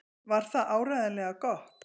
Var það áreiðanlega gott?